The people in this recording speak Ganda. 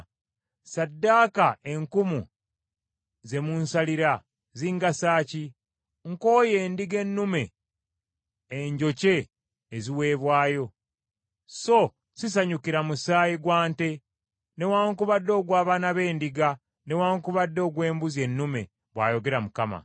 “Ssaddaaka enkumu ze munsalira zingasa ki? Nkooye endiga ennume enjokye eziweebwayo, so sisanyukira musaayi gwa nte, newaakubadde ogw’abaana b’endiga, newaakubadde ogw’embuzi ennume,” bw’ayogera Mukama .